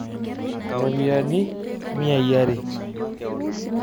Ropiyani miai are.